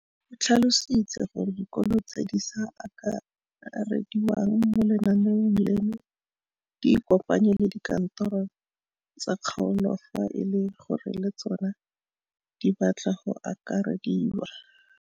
O tlhalositse gore dikolo tse di sa akarediwang mo lenaaneng leno di ikopanye le dikantoro tsa kgaolo fa e le gore le tsona di batla go akarediwa.